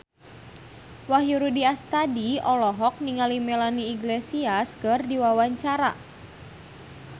Wahyu Rudi Astadi olohok ningali Melanie Iglesias keur diwawancara